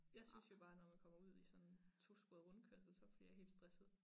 Jeg synes jo bare når man kommer ud i sådan en tosporet rundkørsel så bliver jeg helt stresset